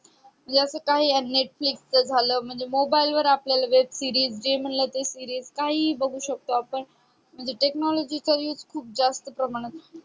अस काही netflix झालं म्हणजे mobile वर आपल्याला web series जे म्हणजे ते series काहीही बगु शकतो आपण म्हणजे technology चा used जास्त प्रमाणात